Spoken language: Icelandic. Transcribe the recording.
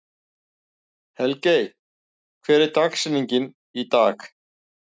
Helgey, hver er dagsetningin í dag?